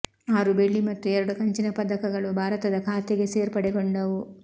ಆರು ಬೆಳ್ಳಿ ಮತ್ತು ಎರಡು ಕಂಚಿನ ಪದಕಗಳೂ ಭಾರತದ ಖಾತೆಗೆ ಸೇರ್ಪಡೆಗೊಂಡವು